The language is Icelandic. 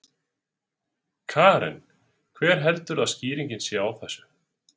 Karen: Hver heldurðu að skýringin sé á þessu?